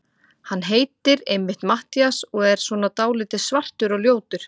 Hann heitir einmitt Matthías og er svona dáldið svartur og ljótur.